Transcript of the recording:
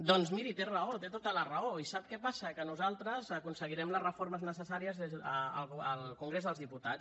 doncs miri té raó té tota la raó i sap què passa que nosaltres aconseguirem les reformes necessàries al congrés dels diputats